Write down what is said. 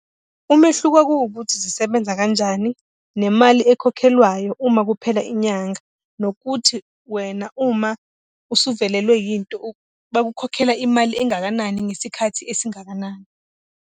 Umehluko kuwukuthi zisebenza kanjani, nemali ekhokhelwayo uma kuphela inyanga. Nokuthi wena, uma usuvelelwe yinto, bakukhokhela imali engakanani ngesikhathi esingakanani.